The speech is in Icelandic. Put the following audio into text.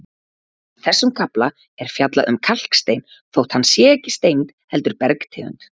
Í þessum kafla er fjallað um kalkstein þótt hann sé ekki steind heldur bergtegund.